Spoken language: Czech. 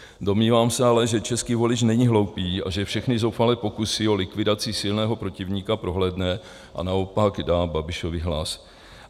Domnívám se ale, že český volič není hloupý a že všechny zoufalé pokusy o likvidaci silného protivníka prohlédne a naopak dá Babišovi hlas.